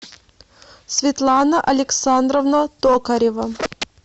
светлана александровна токарева